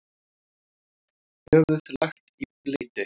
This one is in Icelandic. Höfuð lagt í bleyti.